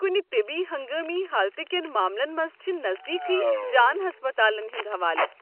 کٗنہِ طِبی ہنگٲمی حالتہٕ كٮ۪ن ماملن منٛز چھِ نزدیكھٕے جان ہسپتالن ہُنٛد حوالہٕ۔